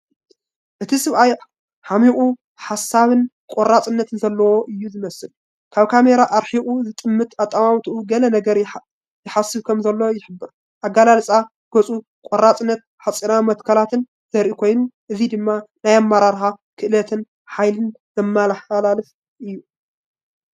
እቲ ሰብኣይ ዓሚቝ ሓሳብን ቆራጽነትን ዘለዎ እዩ ዝመስል። ካብ ካሜራ ኣርሒቑ ዝጥምት ኣጠማምታኡ፡ ገለ ነገር ይሓስብ ከምዘሎ ይሕብር። ኣገላልጻ ገጹ ቆራጽነትን ሓጺናዊ መትከላትን ዘርኢ ኮይኑ፡ እዚ ድማ ናይ ኣመራርሓ ክእለትን ሓይልን ዘመሓላልፍ እዩ።